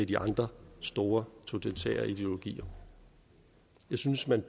de andre store totalitære ideologier jeg synes man